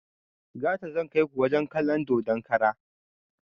Gata zan kaiku wajen kalon dodon kara